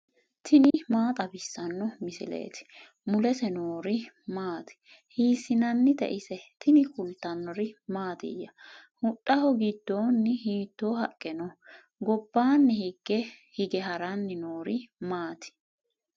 tini maa xawissanno misileeti ? mulese noori maati ? hiissinannite ise ? tini kultannori mattiya? huxxaho gidoonni hiitto haqqe noo? gobbanni hige haranni noori maatti?